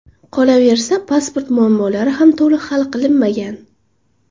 Qolaversa, pasport muammolari ham to‘liq hal qilinmagan.